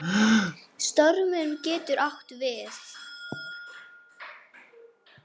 Stormur getur átt við